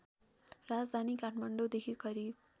राजधानी काठमाडौँदेखि करिब